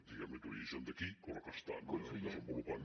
diguem ne d’origen d’aquí però que estan desenvolupant